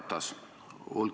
Härra Ratas!